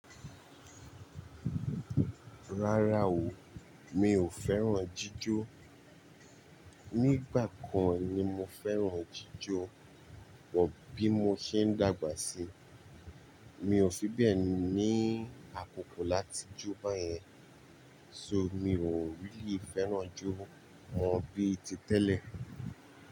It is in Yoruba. Rárá o, mi ò fẹ́ràn jíjó. Nígbà kan ni mo fẹ́ràn jíjó, but bí mo ṣe ń dàgbà síi. Mi ò fi bẹ́ẹ̀ ni àkókò láti jó báyẹn. So mi ò really fẹ́ràn jó mọ bí ti tẹ́lẹ̀.